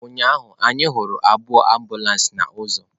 Ụnyahụ anyị hụrụ abụọ ambulances na ozu.